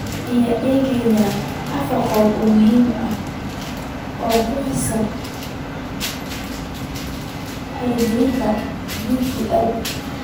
Aynu eegno afar qodob oo muhiim ah oo khuseeya hirgelinta DPL: